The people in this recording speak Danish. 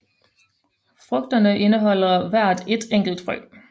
Frugterne indeholder hver ét enkelt frø